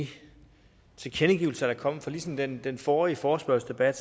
de tilkendegivelser der er kommet for ligesom den den forrige forespørgselsdebat